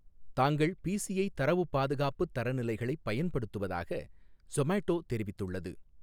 தாங்கள் பிசிஐ தரவுப் பாதுகாப்புத் தரநிலைகளைப் பயன்படுத்துவதாக சொமாட்டோ தெரிவித்துள்ளது.